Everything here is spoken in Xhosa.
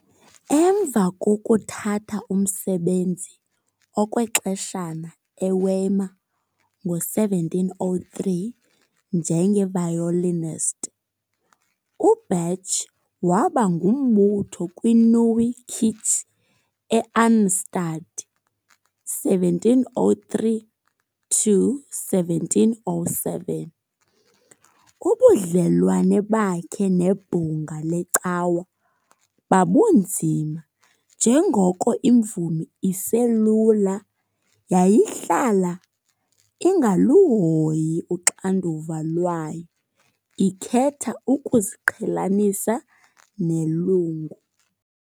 Emva kokuthatha umsebenzi okwexeshana eWeimar ngo-1703 njenge-violinist, uBach waba ngumbutho kwi-Neue Kirche e-Arnstadt, 1703-1707. Ubudlelwane bakhe nebhunga lecawa babunzima njengoko imvumi eselula yayihlala ingaluhoyi uxanduva lwayo, ikhetha ukuziqhelanisa nelungu.